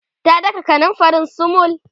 ta daka kanumfarin sumul